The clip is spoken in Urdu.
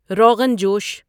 روغن جوش